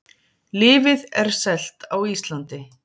Lyfið er selt á Íslandi